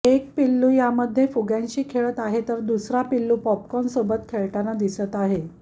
एक पिल्लू यामध्ये फुग्यांशी खेळत आहे तर दुसरा पिल्लू पॉपकॉर्नसोबत खेळताना दिसत आहे